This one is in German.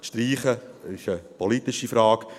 Das Streichen ist eine politische Frage.